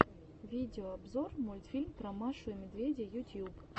видеообзор мультфильм про машу и медведя ютьюб